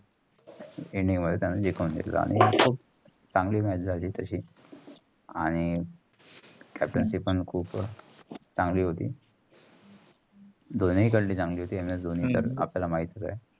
चांगली match झाली. तशी आणि captaincy पण खूप चांगली होती. दोनीकडली चांगली होती. एम एस धोनी तर आपल्या माहीतच आहे.